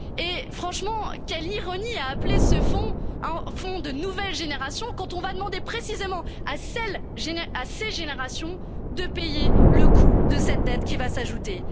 européen. Et, franchement, quelle ironie d'appeler ce fonds un Fonds de nouvelle génération, quand on va demander précisément à ces générations de payer le coût de cette dette qui va s'ajouter.